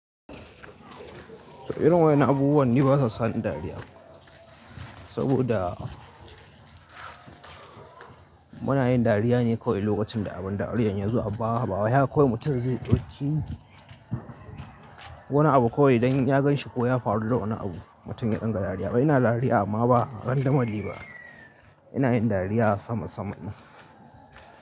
Irin wa'yan nan abubuwan ni basa sani dariya saboda muna yin dariya ne kawai lokacin da abin dariya ya zo. Amma bawai haka kawai mutum zai ɗauki wani abu kawai idan ya ganshi ko ya faruda wani abu mutum ya dinga dariya. To ins dariya amam ba a randomly ba. Ina yin dariya a sama saman ne.